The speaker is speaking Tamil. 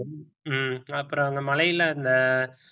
ஹம் அப்புறம் அந்த மலையில அந்த